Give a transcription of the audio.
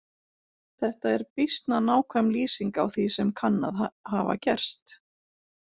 Þetta er býsna nákvæm lýsing á því sem kann að hafa gerst.